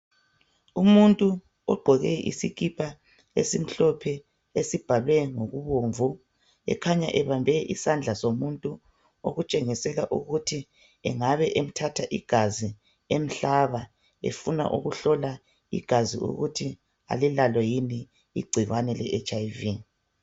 Umuntu ogqoke isikipa esimhlophe esibhalwe ngokubomvu ekhanya ebambe isandla somuntu okutshengisela ukuthi engabe emthatha igazi emhlaba efuna ukuhlola igazi ukuthi alilalo yini igcikwane le hiv.